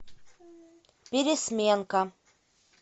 пересменка